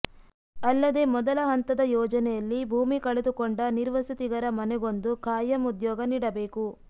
ಅಲ್ಲದೇ ಮೊದಲ ಹಂತದ ಯೋಜನೆಯಲ್ಲಿ ಭೂಮಿ ಕಳೆದುಕೊಂಡ ನಿರ್ವಸತಿಗರ ಮನೆಗೊಂದು ಖಾಯಂ ಉದ್ಯೋಗ ನೀಡಬೇಕು